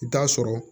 I bi t'a sɔrɔ